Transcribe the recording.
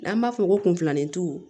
N'an b'a fɔ ko kunfilanitu